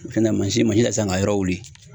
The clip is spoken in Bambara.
Fɛnkɛ mansin masin ta siasn k'a yɔrɔ wuli.